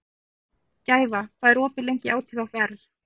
Gæfa, hvað er opið lengi í ÁTVR?